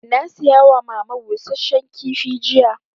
Na saya wa mama busasshen kifi jiya